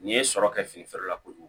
N'i ye sɔrɔ kɛ fini feere la kojugu